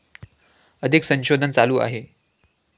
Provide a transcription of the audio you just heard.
अधिक संशोधन चालू आहे